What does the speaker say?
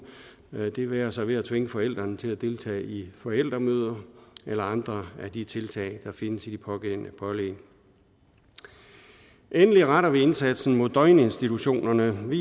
det være sig ved at tvinge forældrene til at deltage i forældremøder eller andre af de tiltag der findes i de pågældende pålæg endelig retter vi indsatsen mod døgninstitutionerne med